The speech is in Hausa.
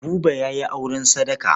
Buba ya yi auren sadaka.